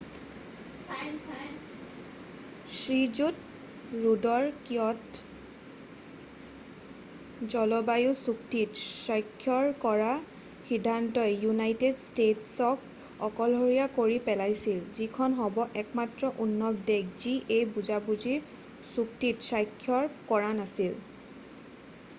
শ্ৰীযুত ৰুডৰ কিয়’ট’ জলবায়ু চুক্তিত স্বাক্ষৰ কৰাৰ সিদ্ধান্তই ইউনাইটেড ষ্টেট্‌ছক অকলশৰীয়া কৰি পেলাইছিল যিখন হ’ব একমাত্ৰ উন্নত দেশ যি এই বুজাবুজিৰ চুক্তিত স্বাক্ষৰ কৰা নাছিল।